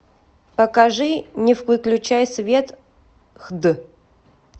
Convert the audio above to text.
покажи не выключай свет хд